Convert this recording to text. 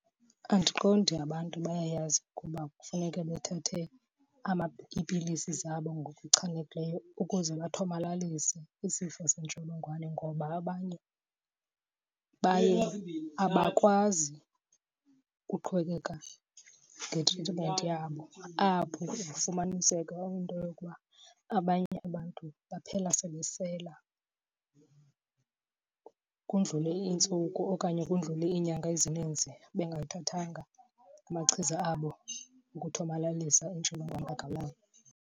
Andiqondi abantu bayayazi ukuba kufuneke bethathe iipilisi zabo ngokuchanekileyo ukuze bathomalalise isifo sentsholongwane ngoba abanye baye abakwazi ukuqhubekeka ngetritimenti yabo. Apho kufumaniseka into yokuba abanye abantu baphela sebesela, kudlule iintsuku okanye kudlule iinyanga ezininzi bengathathanga amachiza abo wokuthomalalisa intsholongwane kagawulayo.